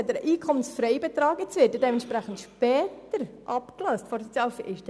Nun hat er einen EFB und wird entsprechend später von der Sozialhilfe abgelöst.